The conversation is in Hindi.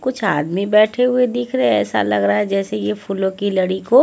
कुछ आदमी बैठ हुए दिख रहे है ऐसा लग रहा है जैसे ये फूलों की लड़ी को--